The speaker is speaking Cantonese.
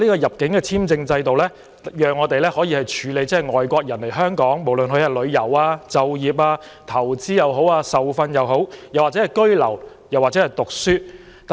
入境簽證制度讓我們可以處理外地人士申請來港旅遊、就業、投資、受訓、居留或學習。